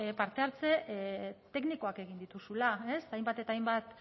parte hartze teknikoak egin dituzula hainbat eta hainbat